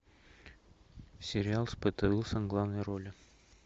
сериал с петой уилсон в главной роли